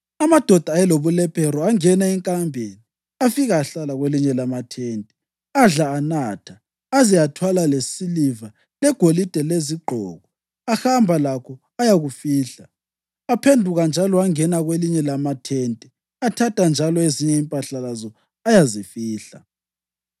Amadoda ayelobulephero angena enkambeni afika ahlala kwelinye lamathente. Adla anatha, aze athwala lesiliva, legolide lezigqoko, ahamba lakho ayakufihla. Aphenduka njalo angena kwelinye lamathente athatha njalo ezinye impahla lazo ayazifihla.